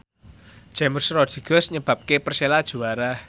James Rodriguez nyebabke Persela juara